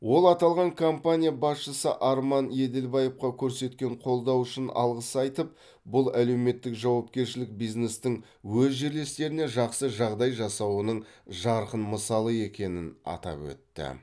ол аталған компания басшысы арман еділбаевқа көрсеткен қолдауы үшін алғыс айтып бұл әлеуметтік жауапкершілік бизнестің өз жерлестеріне жақсы жағдай жасауының жарқын мысалы екенін атап өтті